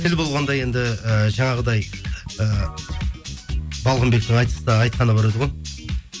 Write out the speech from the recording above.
тіл болған енді ііі жаңағыдай і балғынбектің айтыста айтқаны бар еді ғой